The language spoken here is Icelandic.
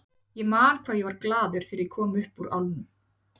Ég man hvað ég var glaður þegar ég kom upp úr álnum.